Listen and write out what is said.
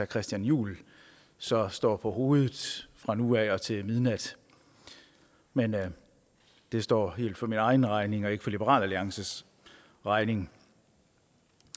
christian juhl så står på hovedet fra nu af og til midnat men det står helt for min egen regning og ikke for liberal alliances regning